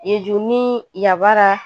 Yezu ni Yabara